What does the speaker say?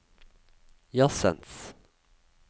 jazzens